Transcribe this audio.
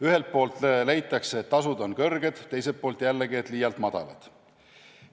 Ühelt poolt leitakse, et tasud on kõrged, teiselt poolt jällegi, et need on liialt madalad.